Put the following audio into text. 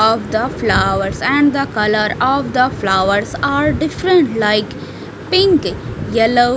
of the flowers and the color of the flowers are different like pink yellow .